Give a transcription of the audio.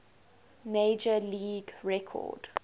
major league record